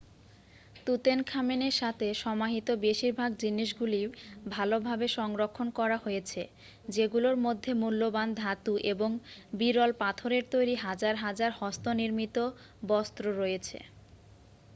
তুতেনখামেনের সাথে সমাহিত বেশিরভাগ জিনিসগুলি ভালভাবে সংরক্ষণ করা হয়েছে যেগুলোর মধ্যে মূল্যবান ধাতু এবং বিরল পাথরের তৈরি হাজার হাজার হস্তনির্মিত বস্তু রয়েছে